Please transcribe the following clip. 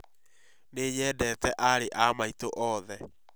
Nĩ nyendete aarĩ a maitũ othe